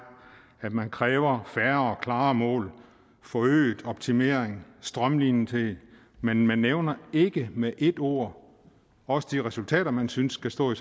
at man kræver færre og klare mål forøget optimering strømlinethed men man nævner ikke med ét ord også de resultater man synes skal stå i